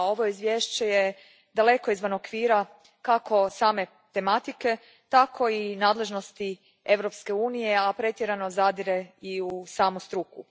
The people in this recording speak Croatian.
Ovo izvješće daleko je izvan okvira kako same tematike tako i nadležnosti Europske unije, a pretjerano zadire i u samu struku.